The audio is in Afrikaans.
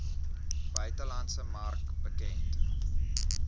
buitelandse mark bekend